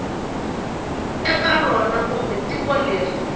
eka rona kumbe tiko leri